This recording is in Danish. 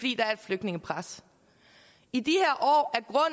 flygtningepres i de